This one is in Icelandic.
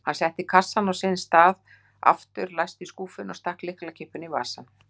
Hann setti kassann á sinn stað aftur, læsti skúffunni og stakk lyklakippunni í vasann.